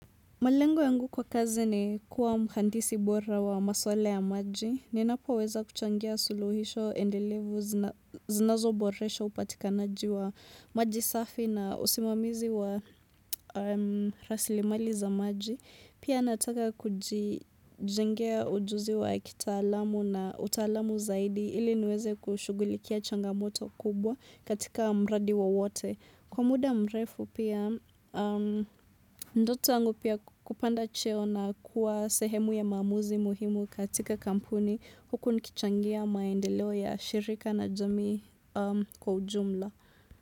Malengo yangu kwa kazi ni kuwa mhandisi bora wa maswala ya maji. Ninapoweza kuchangia suluhisho endelevu zinazoboresha upatikanaji wa maji safi na usimamizi wa rasilimali za maji. Pia nataka kujijengea ujuzi wa kitaalamu na utaalamu zaidi ili niweze kushughulikia changamoto kubwa katika mradi wowote. Kwa muda mrefu pia, ndoto yangu pia kupanda cheo na kuwa sehemu ya maamuzi muhimu katika kampuni huku nikichangia maendeleo ya shirika na jamii kwa ujumla.